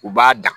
U b'a dan